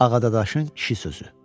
Ağadadaşın kişi sözü.